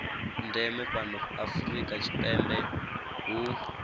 ndeme fhano afrika tshipembe hu